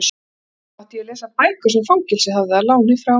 Einnig mátti ég lesa bækur sem fangelsið hafði að láni frá